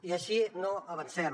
i així no avancem